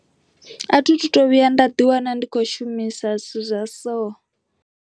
A thitu to vhuya nda ḓiwana ndi khou shumisa zwithu zwa soo.